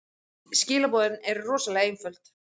Skilaboðin eru rosalega einföld.